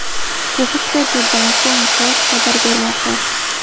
Bu haqda The Bangkok Post xabar bermoqda .